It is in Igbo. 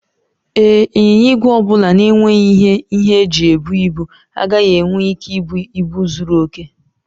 Ee, ịnyịnya ígwè ọ bụla na-enweghị ihe ihe eji ebu ibu agaghị enwe ike ibu ibu zuru oke.